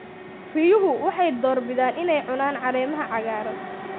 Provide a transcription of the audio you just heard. Riyuhu waxay door bidaan inay cunaan caleemaha cagaaran.